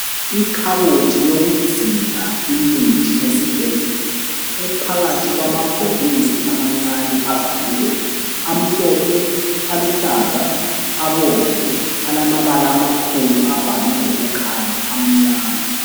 Ikhabothi yokugcina imithi yesibhedlela ephakathi kwamabhokisi amancane avaliweyo, amhlophe, aluhlaza, abomvu, alamabala amakhulu abhalwe ngokukhanya amnyama.